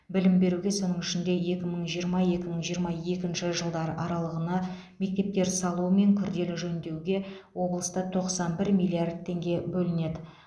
білім беруге соның ішінде екі мың жиырма екі мың жиырма екінші жылдар аралығына мектептер салу мен күрделі жөндеуге облыста тоқсан бір миллиард теңге бөлінеді